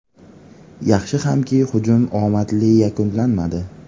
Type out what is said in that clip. Yaxshi hamki, hujum omadli yakunlanmadi.